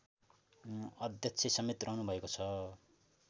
अध्यक्षसमेत रहनुभएको छ